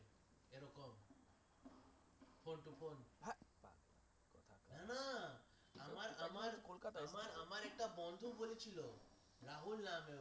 না না আমার আমার আমার আমার একটা বন্ধুর হয়েছিল রাহুল নামের